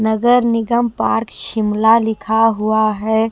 नगर निगम पार्क शिमला लिखा हुआ है।